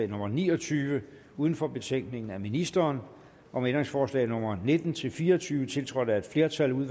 nummer ni og tyve uden for betænkningen af ministeren om ændringsforslag nummer nitten til fire og tyve tiltrådt af et flertal